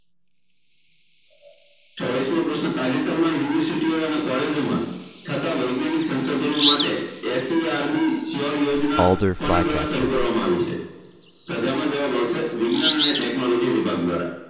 ચોવીસમો પ્રશ્ન તાજેતરમાં university ઓ અને college જો માં થતાં વૈજ્ઞાનિક સંશોધનો માટે એ SERB SURE યોજના કોનાં દ્વારા શરૂ કરવામાં આવી છે તો તેનો જવાબ આવશે વિજ્ઞાન અને technology વિભાગ દ્વારા